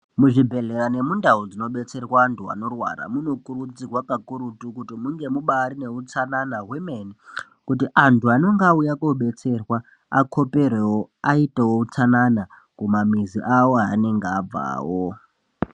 Muzvibhehlera nemundau dzinobetserwa antu anorwara munokurudzirwa pakurutu kuti munge mubari utsanana hwemene kuti antu anenge auya kodetserwa akoperewo aitweo utsanana kumamizi awo anenge abvawo.